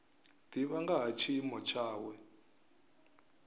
divha nga ha tshiimo tshawe